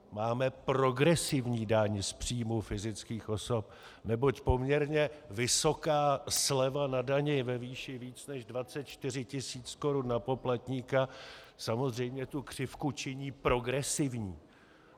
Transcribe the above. Máme progresivní daň z příjmů fyzických osob, neboť poměrně vysoká sleva na dani ve výši více než 24 tisíc korun na poplatníka samozřejmě tu křivku činí progresivní.